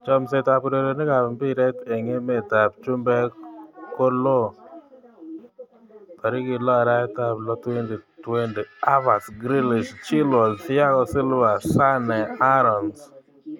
Chomset ab urerenet ab mbiret eng emet ab chumbek kolo 06.06.2020: Havertz, Grealish, Chilwell, Thiago Silva, Sane, Aarons